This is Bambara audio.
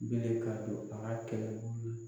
Bilen ka don baara kɛ